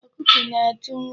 Ọkụkọ na-atụ nri.